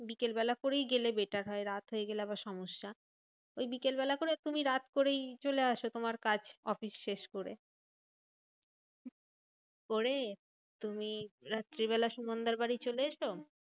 বিকেল বেলা করেই গেলে better হয়। রাত হয়ে গেলে আবার সমস্যা। ওই বিকেল বেলা করে তুমি রাত করেই চলে আসো। তোমার কাজ অফিস শেষ করে। করে তুমি রাত্রি বেলা সুমনদা বাড়ি চলে এসো।